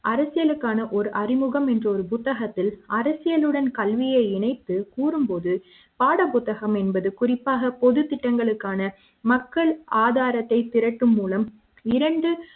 அரசியலுக்கான ஒரு அறிமுகம் என்ற ஒரு புத்தகத்தில் அரசியலுடன் கல்வியை இணைத்து கூறும்போது பாடப் புத்தகம் என்பது குறிப்பாக பொது திட்டங்களுக்கான மக்கள் ஆதாரத்தை திருட்டு மூலம் இரண்டு